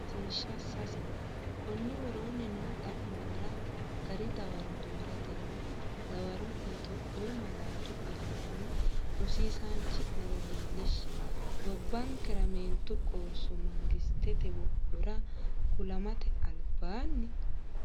Rosiishsha Sase Konni woroonni noo xa’muwara gari dawaro dooratenni dawaro’ne Itophiyu malaatu afiinni Rosiisaanchi’nera leellishshe, Gobbankera meentu qoosso mangistete wodhora kulamate albaan?